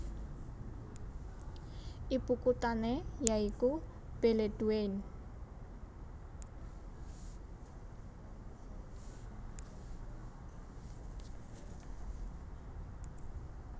Ibukuthané ya iku Beledweyne